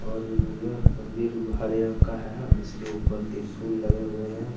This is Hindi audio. और इया मंदिर हरे रंग का है और इसके ऊपर त्रिशूल लगे हुए हैं।